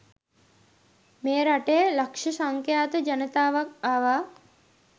මේ රටේ ලක්ෂ සංඛ්‍යාත ජනතාවක් ආවා.